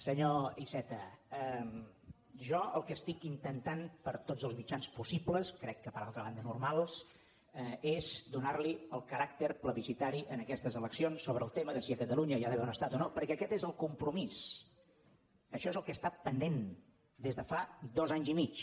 senyor iceta jo el que estic intentant per tots els mitjans possibles crec que per altra banda normals és donarhi el caràcter plebiscitari a aquestes eleccions sobre el tema de si a catalunya hi ha d’haver un estat o no perquè aquest és el compromís això és el que està pendent des de fa dos anys i mig